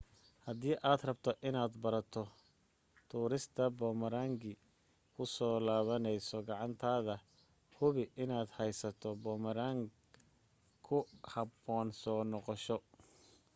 hadii aad rabto inaad barato tuurista boomarangi ku soo laabanaysa gacantaada hubi inaad haysato boomarang ku habboon soo noqosho